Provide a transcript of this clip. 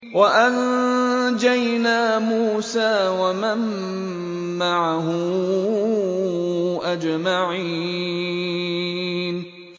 وَأَنجَيْنَا مُوسَىٰ وَمَن مَّعَهُ أَجْمَعِينَ